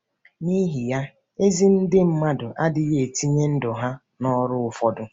Nihi ya, ezi ndị mmadụ adịghị etinye ndụ ya nọrụ ụfọdụ.